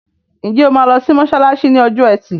Ǹjẹ́ o máa lọ sí mọ́ṣáláṣí ní ọjọ́ ẹtì?